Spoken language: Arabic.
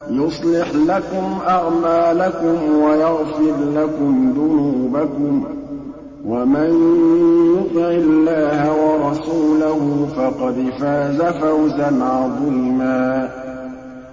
يُصْلِحْ لَكُمْ أَعْمَالَكُمْ وَيَغْفِرْ لَكُمْ ذُنُوبَكُمْ ۗ وَمَن يُطِعِ اللَّهَ وَرَسُولَهُ فَقَدْ فَازَ فَوْزًا عَظِيمًا